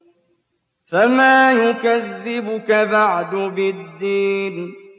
فَمَا يُكَذِّبُكَ بَعْدُ بِالدِّينِ